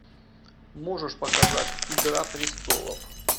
можешь показать игра престолов